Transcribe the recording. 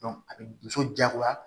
a bɛ muso jagoya